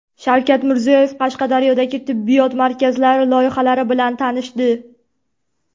Shavkat Mirziyoyev Qashqadaryodagi tibbiyot markazlari loyihalari bilan tanishdi.